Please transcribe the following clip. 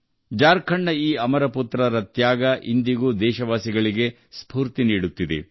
ಜಾರ್ಖಂಡ್ ನೆಲದ ಈ ಅಮರ ಪುತ್ರರ ಅತ್ಯುನ್ನತ ತ್ಯಾಗ ಇಂದಿಗೂ ದೇಶವಾಸಿಗಳಿಗೆ ಸ್ಫೂರ್ತಿ ನೀಡುತ್ತದೆ